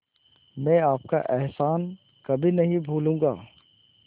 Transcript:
मैं आपका एहसान कभी नहीं भूलूंगा